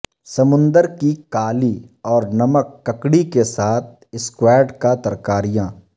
سمندر کی کالی اور نمک ککڑی کے ساتھ اسکواڈ کا ترکاریاں